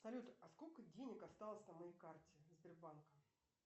салют а сколько денег осталось на моей карте сбербанка